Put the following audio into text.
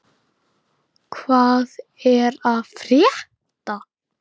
Hvað er að frétta!